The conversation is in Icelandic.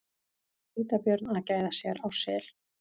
Hvítabjörn að gæða sér á sel.